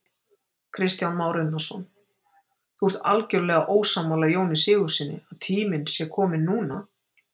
Kristján Már Unnarsson: Þú ert algjörlega ósammála Jóni Sigurðssyni, að tíminn sé kominn núna?